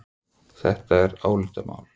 Þetta er álitamál.